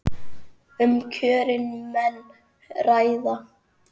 Um kjörin menn ræða.